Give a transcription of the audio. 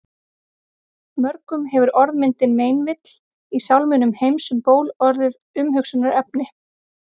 Mörgum hefur orðmyndin meinvill í sálminum Heims um ból orðið að umhugsunarefni.